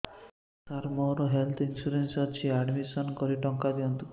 ସାର ମୋର health insurance ଅଛି admission କରି ଟଙ୍କା ଦିଅନ୍ତୁ